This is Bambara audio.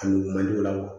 A nugu man di o la wa